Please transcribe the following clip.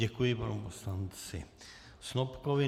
Děkuji panu poslanci Snopkovi.